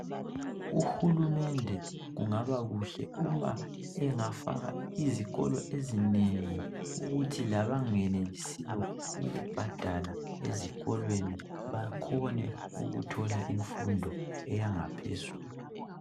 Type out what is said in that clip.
Uhulumende kungaba kuhle uma engafaka izikolo ezinengi ukuthi labangenelisiyo ukubhadala ezikolweni bakhone ukuthola imfundo eyangaphezulu.